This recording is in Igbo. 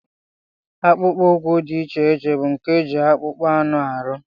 Akpụkpọ ụkwụ dị iche iche bụ nke e ji akpụkpọ anụ arụ